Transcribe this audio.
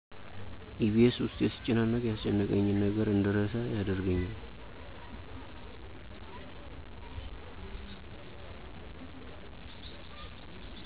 ኢቢኤስ ውስጤ ሲጨናነቅ ያስጨነቀኝን ነገር እንድረሳ ያደርገኛል።